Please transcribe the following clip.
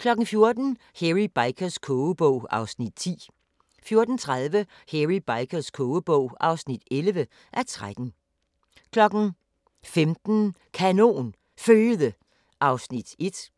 14:00: Hairy Bikers kogebog (10:13) 14:30: Hairy Bikers kogebog (11:13) 15:00: Kanon Føde (1:6)